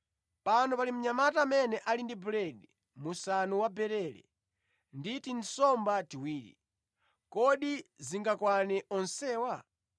“Pano pali mnyamata amene ali ndi buledi musanu wabarele ndi tinsomba tiwiri, kodi zingakwane onsewa?”